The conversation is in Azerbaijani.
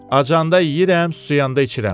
Aclanda yeyirəm, suyanda içirəm.